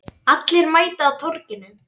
Allir mæta á Torginu